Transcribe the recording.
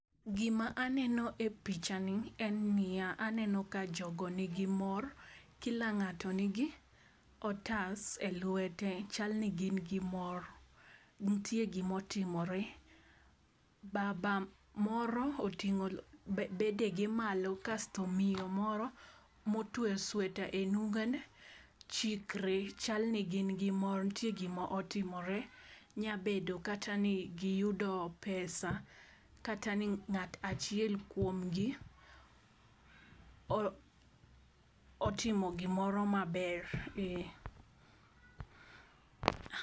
Gima aneno e picha ni en niya aneno ka jogo nigi mor kila ng'ato nigi otas e lwete. Chal ni gin gi mor ntie gimo timore . Baba moro otingo bedege malo kasto miyo moro motwe sweta e nungone chikre, chalni gin gi mor ntie gima otimore. Nya bedo kata ni giyudo pesa kata ni ng'at achiel kuomgi o otimo gimoro maber